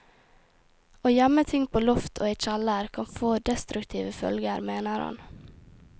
Å gjemme ting på loft og i kjeller kan få destruktive følger, mener han.